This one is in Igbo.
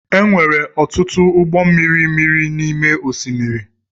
E nwere ọtụtụ ụgbọ mmiri miri n’ime osimiri